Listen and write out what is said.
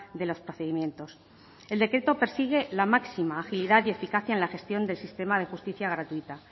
de los procedimientos el decreto persigue la máxima agilidad y eficacia en la gestión del sistema de justicia gratuita